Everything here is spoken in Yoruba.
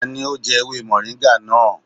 Tani ó jẹ́ ewé mọ̀ríńgà náà?